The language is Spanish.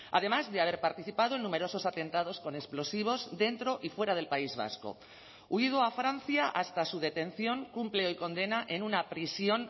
además de haber participado en numerosos atentados con explosivos dentro y fuera del país vasco huido a francia hasta su detención cumple hoy condena en una prisión